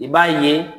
I b'a ye